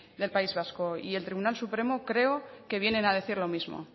del país vasco y el tribunal supremo creo que vienen a decir lo mismo